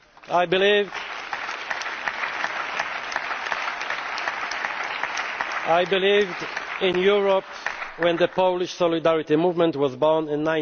be safer. I believed in Europe when the Polish Solidarity movement was